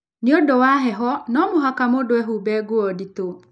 Nĩ ũndũ wa heho, no mũhaka mũndũ ehumbĩ nguo nditũ.